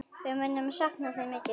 Við munum sakna þín mikið.